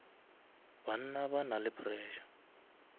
banna ba na le pressure